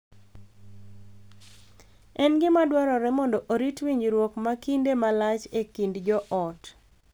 En gima dwarore mondo orit winjruok ma kinde malach e kind joot.